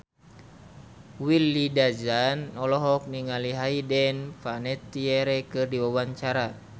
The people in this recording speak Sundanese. Willy Dozan olohok ningali Hayden Panettiere keur diwawancara